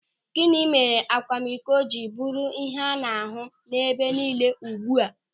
Gịnị mere akwamiko ji bụrụ ihe a na-ahụ ebe nille ugbu a.